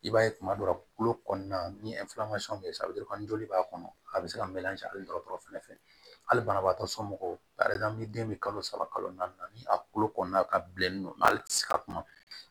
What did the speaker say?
I b'a ye kuma dɔ la kolo kɔnɔna ni bɛ ye sisan joli b'a kɔnɔ a bɛ se ka melancɛ hali dɔgɔtɔrɔ fɛnɛ fɛ hali banabagatɔ somɔgɔw a ni den bɛ kalo saba kalo naani ni a kolo kɔnɔna ka bilennen don hali ti se ka kuma